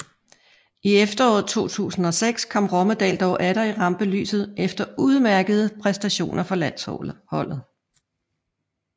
I efteråret 2006 kom Rommedahl dog atter i rampelyset efter udmærkede præstationer for landsholdet